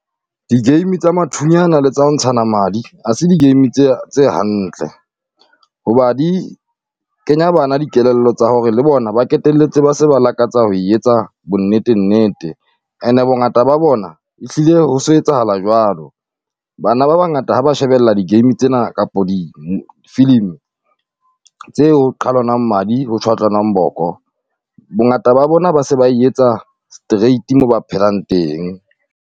Di game tsa mathunyana le tsa ho ntshana madi, ha se game tse ya tse hantle. Hoba di kenya bana dikelello tsa hore le bona ba q\ketelletse ba se ba lakatsa ho e etsa bonnetennete, and-e bongata ba bona ehlile ho so etsahala jwalo. Bana ba bangata ha ba shebella di game tsena kapo di filimi tse ho qhalwanag madi ho tjhwatlanang boko, bongata ba bona ba se ba e etsa straight mo ba phelang teng.